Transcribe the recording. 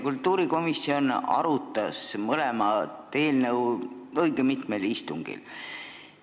Kultuurikomisjon arutas mõlemat eelnõu õigel mitmel istungil.